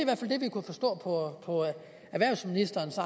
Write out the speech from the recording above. vi kunne forstå på erhvervsministerens